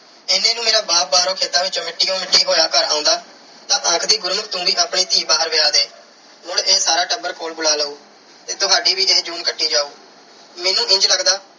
ਇੰਨੇ ਨੂੰ ਮੇਰਾ ਬਾਪ ਬਾਹਰੋਂ ਖੇਤਾਂ ਵਿੱਚੋਂ ਮਿੱਟੀ ਨਾਲ ਮਿੱਟੀ ਹੋਇਆ ਘਰ ਆਉਂਦਾ ਤਾਂ ਆਖਦੀ ਗੁਰਮੁਖ ਤੂੰ ਵੀ ਆਪਣੀ ਧੀ ਬਾਹਰ ਵਿਆਹ ਦੇ। ਮੁੜ ਇਹ ਸਾਰਾ ਟੱਬਰ ਕੋਲ ਬੁਲਾ ਲਊ ਤੇ ਤੁਹਾਡੀ ਵੀ ਇਹ ਜੂਨ ਕੱਟੀ ਜਾਉ। ਮੈਨੂੰ ਇੰਝ ਲੱਗਦਾ